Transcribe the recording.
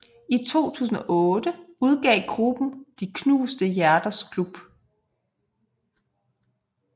I 2008 udgav gruppen De knuste hjerters klub